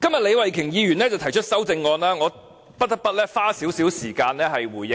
李慧琼議員今天提出修正案，真的很離奇，我不得不花點時間回應。